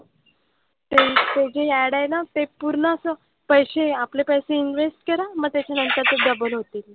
ते जे ad आहेत ना ते पूर्ण असं पैसे आपले पैसे invest करा. मग त्याच्यानंतर ते double होतील.